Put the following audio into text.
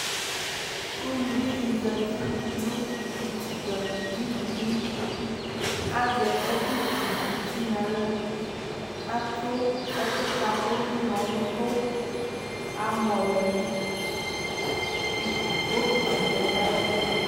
Uluvi dɩ zati nʋ utikpǝ nʋ ivudini Azɛ ɛkʋsuwu uti nʋ aɣla Atʋ ɛkʋkatʋ nʋ ʋnɔ nʋ ʋtʋ Amɔ lɛ i bokiti lɛ nʋ ayɛtʋ